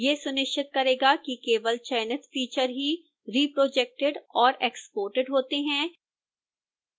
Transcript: यह सुनिश्चित करेगा कि केवल चयनित feature ही reprojected और exported होते हैं